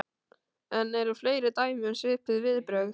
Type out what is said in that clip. En eru fleiri dæmi um svipuð viðbrögð?